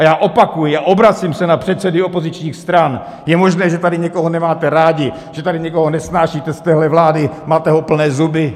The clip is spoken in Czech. A já opakuji a obracím se na předsedy opozičních stran: Je možné, že tady někoho nemáte rádi, že tady někoho nesnášíte z téhle vlády, máte ho plné zuby.